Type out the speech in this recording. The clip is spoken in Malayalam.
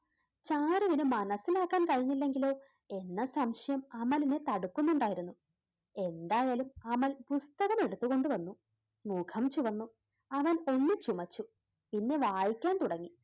ചാരു അത് മനസ്സിലാക്കാൻ കഴിഞ്ഞില്ലെങ്കിലോ എന്ന സംശയം അമലിനെ തടുക്കുന്നുണ്ടായിരുന്നു. എന്തായാലും അമൽ പുസ്തകം എടുത്തു കൊണ്ടു വന്നു മുഖം ചുമന്നു അവൻ ഒന്നു ചുമച്ചു പിന്നെ വായിക്കാൻ തുടങ്ങി.